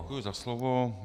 Děkuji za slovo.